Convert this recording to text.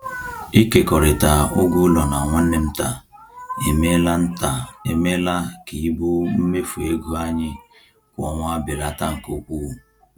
Ịkekọrịta ụgwọ ụlọ na nwanne m nta emeela nta emeela ka ibu mmefu ego anyị kwa ọnwa belata nke ukwuu.